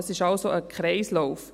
Dies ist also ein Kreislauf.